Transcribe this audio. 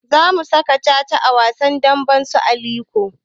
Za mu saka caca a wasan damben su Aliko